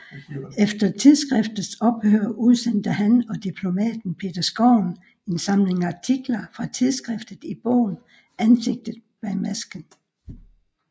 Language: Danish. Efter tidsskriftets ophør udsendte han og diplomaten Peter Skovn en samling artikler fra tidsskriftet i bogen Ansigtet bag masken